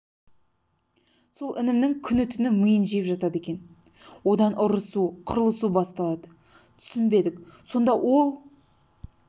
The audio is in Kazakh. сол інімнің күні-түні миын жеп жатады екен одан ұрысу қырылысу басталады түсінбедік сонда ол